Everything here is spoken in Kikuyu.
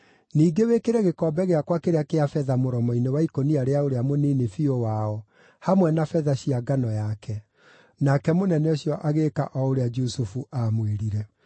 Ningĩ wĩkĩre gĩkombe gĩakwa kĩrĩa kĩa betha mũromo-inĩ wa ikũnia rĩa ũrĩa mũnini biũ wao, hamwe na betha cia ngano yake.” Nake mũnene ũcio agĩĩka o ũrĩa Jusufu aamwĩrire.